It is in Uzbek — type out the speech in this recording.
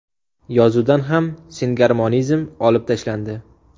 Yozuvdan ham singarmonizm olib tashlandi.